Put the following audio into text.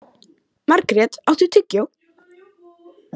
Margret, áttu tyggjó?